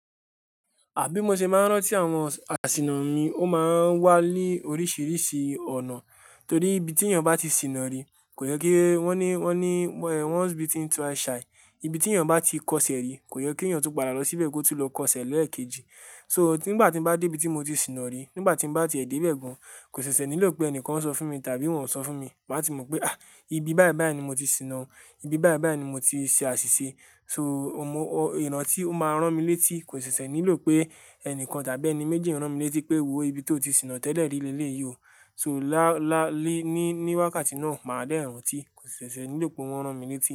Ha bí mo ṣe máa ń rántí àwọn àsìnà mi, ó máa ń wá ni oríṣìíríṣìí ọ̀nà torí ibi tí ènìyàn bá ti sìnà ri kò yẹ kí wọ́n ní, wọ́n ní, once bitten twice shy. Ibi tí ènìyàn bá ti kọṣẹ́ rí kò yẹ kí ènìyàn tun padà lọ síbẹ̀ kó tú lọ kọṣẹ́ lẹ́ẹ̀kejì. So nígbà tí mo bá dé ibi tí mo ti sìnà ri, nígbà tí mo bá ti ẹ̀ dé bẹ́ẹ̀ gan, kò ṣẹ̀ṣẹ̀ nílò pé ẹnìkan sọ fún mi tàbí wọ́n ò sọ fún mi, màá ti mọ̀ pé, àh! Ibi báyìí báyìí ni mo ti sìnà, ibi báyìí báyìí ni mo ti ṣe àṣìṣe. So ìrántí ó máa ń rán mi létí kò ṣẹ̀ṣẹ̀ nílò pé ẹnìkan tàbí ẹni méjì rán mi létí pé wò ó ibi tí ó ti sìnà tẹ́lẹ̀ ri lele yìí o. So lá, lá, ni ní, níwákàtí náà máa dẹ́ran tí kò ṣẹ̀ṣẹ̀ nílò pé wọ́n rán mi létí.